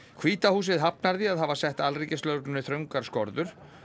hvíta húsið hafnar því að hafa sett alríkislögreglunni þröngar skorður